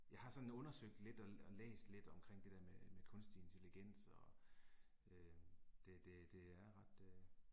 Jeg har sådan undersøgt lidt og og læst lidt omkring det der med med kunstig intelligens og øh det det det er ret øh